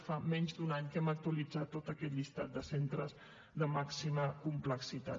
fa menys d’un any que hem actualitzat tot aquest llistat de centres de màxima complexitat